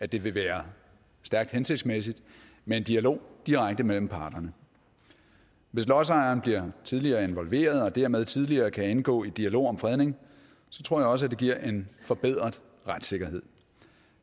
det vil være stærkt hensigtsmæssigt med en dialog direkte mellem parterne hvis lodsejeren bliver tidligere involveret og dermed tidligere kan indgå i dialog om fredning tror jeg også at det giver en forbedret retssikkerhed